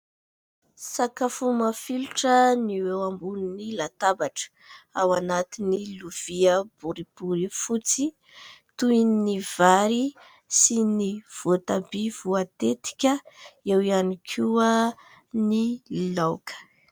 Sakafo mafilotra no eo ambonin'ny latabatra. Ao anatin'ny lovia boribory fotsy toy ny vary sy ny voatabia voatetika. Eo ihany koa ny laoka.